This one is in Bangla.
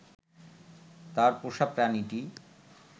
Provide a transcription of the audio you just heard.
তার পোষা প্রাণীটি